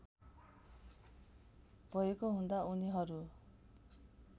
भएको हुँदा उनीहरू